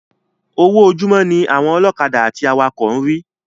Owó ojúmó ní àwọn ọlọ́kadà àti awakọ̀ ń rí